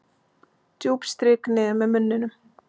Djúp strik niður með munninum.